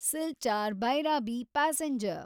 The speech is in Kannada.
ಸಿಲ್ಚಾರ್ ಭೈರಾಬಿ ಪ್ಯಾಸೆಂಜರ್